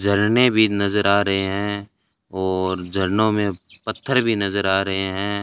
झरने भी नजर आ रहे हैं और झरनों में पत्थर भी नजर आ रहे हैं।